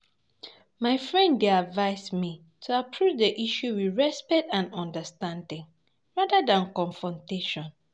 My friend dey advise me to approach the issue with respect and understanding, rather than confrontation.